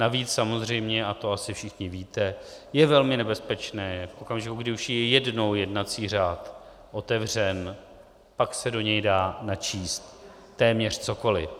Navíc samozřejmě, a to asi všichni víte, je velmi nebezpečné, v okamžiku, kdy už je jednou jednací řád otevřen, pak se do něj dá načíst téměř cokoli.